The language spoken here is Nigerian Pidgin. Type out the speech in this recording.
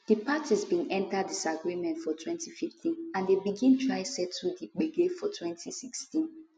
di parties bin enta disagreement for 2015 and dem begin try settle di gbege for 2016